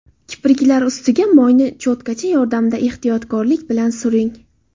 Kipriklar ustiga moyni cho‘tkacha yordamida ehtiyotlik bilan suring.